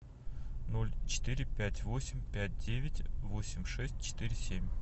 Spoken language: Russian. ноль четыре пять восемь пять девять восемь шесть четыре семь